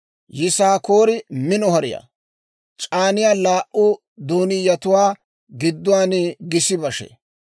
«Yisaakoore mino hariyaa; c'aaniyaa laa"u doonniyatuwaa gidduwaan gis bashee